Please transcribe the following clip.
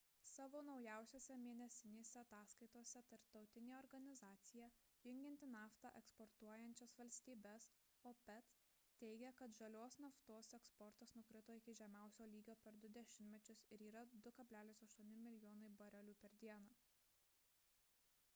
savo naujausiose mėnesinėse ataskaitose tarptautinė organizacija jungianti naftą eksportuojančias valstybes opec teigia kad žalios naftos eksportas nukrito iki žemiausio lygio per du dešimtmečius ir yra 2,8 mln. barelių per dieną